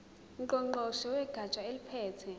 ngqongqoshe wegatsha eliphethe